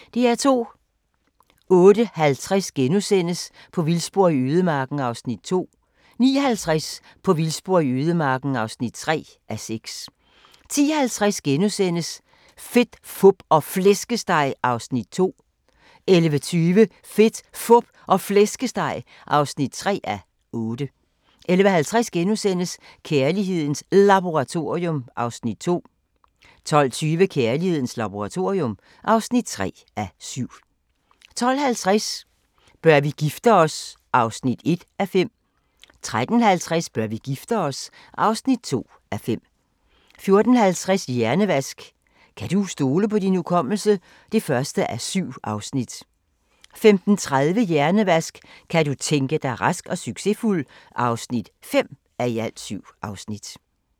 08:50: På vildspor i ødemarken (2:6)* 09:50: På vildspor i ødemarken (3:6) 10:50: Fedt, Fup og Flæskesteg (2:8)* 11:20: Fedt, Fup og Flæskesteg (3:8) 11:50: Kærlighedens Laboratorium (2:7)* 12:20: Kærlighedens laboratorium (3:7) 12:50: Bør vi gifte os? (1:5) 13:50: Bør vi gifte os? (2:5) 14:50: Hjernevask – kan du stole på din hukommelse? (1:7) 15:30: Hjernevask – kan du tænke dig rask og succesfuld? (5:7)